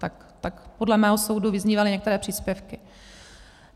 Tak podle mého soudu vyznívaly některé příspěvky.